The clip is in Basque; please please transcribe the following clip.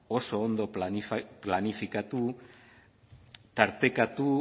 oso ondo planifikatu tartekatu